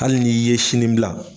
Hali n' i ye sini bila